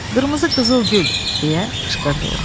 Qırmızı qızılgül, deyə qışqırdı o.